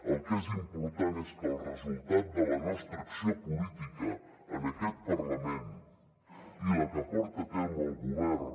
el que és important és que el resultat de la nostra acció política en aquest parlament i la que porta a terme el govern